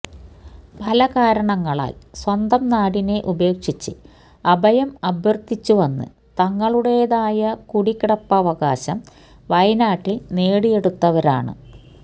പല കാരണങ്ങളാല് സ്വന്തം നാടിനെ ഉപേക്ഷിച്ച് അഭയം അര്ത്ഥിച്ചു വന്ന് തങ്ങളുടേതായ കുടികിടപ്പവകാശം വയനാട്ടില് നേടിയെടുത്തവരാണ്